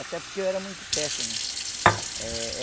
Até porque eu era muito péssimo. Eh